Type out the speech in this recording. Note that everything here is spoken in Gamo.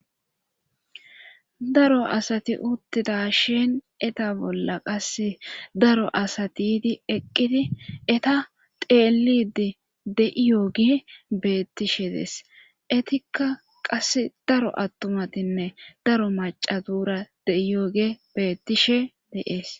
daro asati uttida shin eta bolla qase daro asati yidi eqqidi eta teelidi de7iyooge beettishedes etikka qase daro attumatinne daro maca duura de7iyooge bettishe dees.